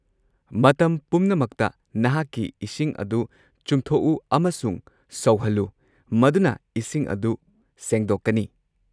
ꯃꯇꯝ ꯄꯨꯝꯅꯃꯛꯇ ꯅꯍꯥꯛꯀꯤ ꯏꯁꯤꯡ ꯑꯗꯨ ꯆꯨꯝꯊꯣꯛꯎ ꯑꯃꯁꯨꯡ ꯁꯧꯍꯜꯂꯨ, ꯃꯗꯨꯅ ꯏꯁꯤꯡ ꯑꯗꯨ ꯁꯦꯡꯗꯣꯛꯀꯅꯤ꯫